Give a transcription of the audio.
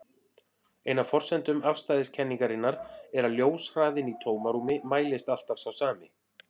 Ein af forsendum afstæðiskenningarinnar er að ljóshraðinn í tómarúmi mælist alltaf sá sami.